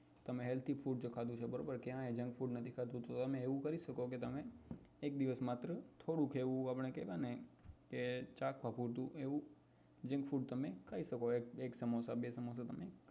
તમે healthy food જો તમે ખાધું છે ક્યાંય junk food નથી ખાધું તો તમે એવું કરી શકો કે તમે એક દિવસ માત્ર થોડુંક એવું ચાખવા પૂરતું એવું junk food તમે ખાઈ શકો એક સમોસા બે સમોસા તમે